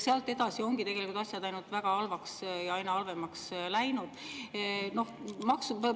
Sealt edasi ongi tegelikult asjad läinud ainult väga halvaks ja aina halvemaks.